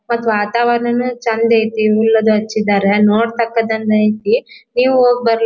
ಮತ್ ವಾತಾವರಣನು ಚಂದ್ ಐತಿ ಹುಲ್ಲದ ಹಚ್ಚಿದಾರ ನೋಡ್ತಕ್ಕದ್ದು ಐತಿ ನೀವು ಹೋಗಿ ಬರ್ರಿ.